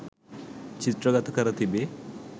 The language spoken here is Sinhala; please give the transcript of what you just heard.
චිත්‍රගත කර තිබේ.